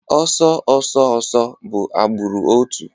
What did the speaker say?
Ọsọ ọsọ ọsọ bụ agbụrụ otu